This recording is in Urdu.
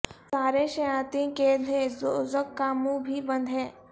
سارے شیاطیں قید ہیں دوزخ کا منہ بھی بند ہے